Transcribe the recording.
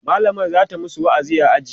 mallamar zata masu wa'azi a aji